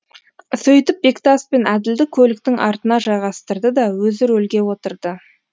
сөйтіп бектас пен әділді көліктің артына жайғастырды да өзі рөлге отырды